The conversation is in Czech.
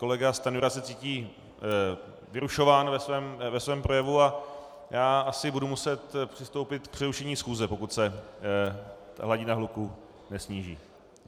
Kolega Stanjura se cítí vyrušován ve svém projevu a já asi budu muset přistoupit k přerušení schůze, pokud se hladina hluku nesníží.